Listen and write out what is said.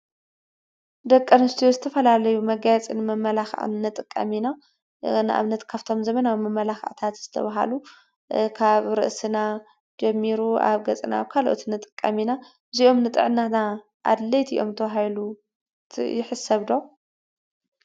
ደቀንስቱ ዝተፈላለዩ መጋያጽን መመላኽዓትነ ጥቃሚና ንእብነት ካፍቶም ዘመናዊ መመላኽእታት ዝተበሃሉ ካብ ርእስና ጀሚሩ ኣብ ገጽናዊካ ልኦትንጥቃሚና ዙይኦም ንጥዕናና ኣድለይቲ ኦምቶ ሃይሉ ይሕሰብዶ?